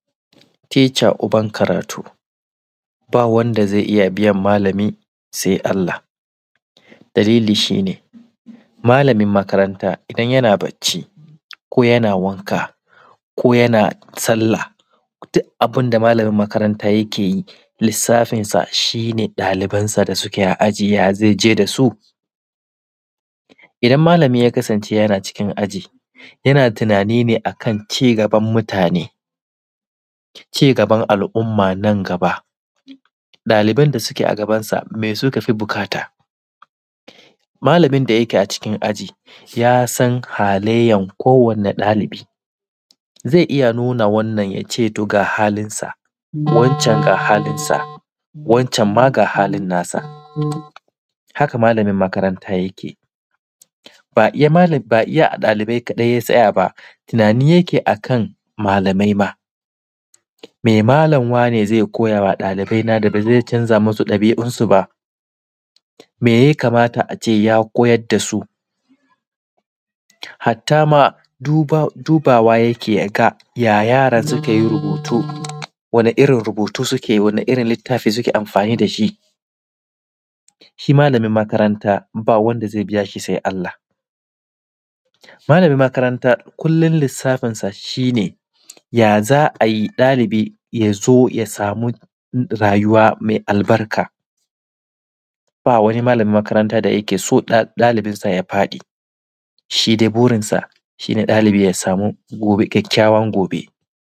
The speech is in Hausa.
Teca uban karatu ba wanda zai iya biyan malami sai Allah. Dalili shine malamin makaranta idan yana bacci ko yana wanka ko yana sallah duk abin da malami yake yi lissafinsa shine ɗalibansa da suke a aji, yaza ji dasu. Idan malami ya kasance yana cikin yana tunani ne akan cigaban mutane, cigaban al’umma nan gaba ɗaliban da suke gabansa su me suka fi buƙata? Malamin da yake a cikin aji yasan halayyan kowane ɗalibi, zai iya nuna wannan ya ce ga halinsa, wancan ga halinsa, wancan ma ga halinsa, haka malamin makaranta yake. Ba iya ɗalibai ya tsaya ba, tunani ma yake akan ɗalibai, me malami wane zai koyawa ɗalibai na da bazai canza musu ɗabi’unsu ba, me ya kamata ace ya koyar dasu. Hattama dubawa yake ya yaran suke rubutu, wane irin rubutu suke, wane irin littafi suke amfani da shi. Shi malamin makaranta ba wanda zai biya shi sai Allah. Malamin makaranta kullum lissafinsa shine yaza ayi ɗalibi yazo ya samu rayuwa mai albarka, ba wani malamin makaranta da yake so ɗalibi ya faɗi. Shi dai burinsa ɗalibi ya samu kyakkyawan gobe.